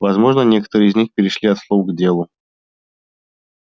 возможно некоторые из них перешли от слов к делу